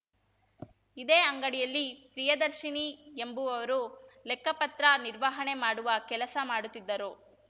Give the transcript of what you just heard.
ಇದೇ ಅಂಗಡಿಯಲ್ಲಿ ಪ್ರಿಯದರ್ಶಿನಿ ಎಂಬುವರು ಲೆಕ್ಕಪತ್ರ ನಿರ್ವಹಣೆ ಮಾಡುವ ಕೆಲಸ ಮಾಡುತ್ತಿದ್ದರು